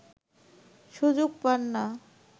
সুযোগ পান না